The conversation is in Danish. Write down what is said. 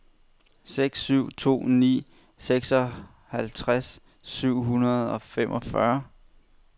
seks syv to ni seksoghalvtreds syv hundrede og femogfyrre